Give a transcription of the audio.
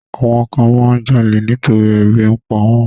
Àwọn kan máa ń jalè nítorí ebi ń pa wọ́n.